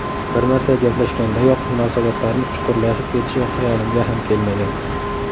Bir marta gaplashgandayoq munosabatlarimiz chuqurlashib ketishi xayolimga ham kelmagan.